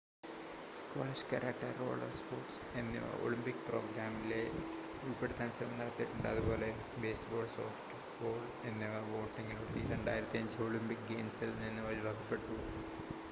squash karate roller sports എന്നിവ Olympic പ്രോഗ്രാമിലേൽ ഉൾപ്പെടാൻ ശ്രമം നടത്തിയിട്ടുണ്ട് അതുപോലെ ബേസ്‌ബോൾ സോഫ്റ്റ്‌ബോൾ എന്നിവ വോട്ടിംഗിലൂടെ 2005 ഒളിമ്പിക് ഗെയിംസിൽ നിന്ന് ഒഴിവാക്കപ്പെട്ടു